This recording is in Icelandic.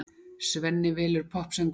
Svenni velur poppsöngvarann.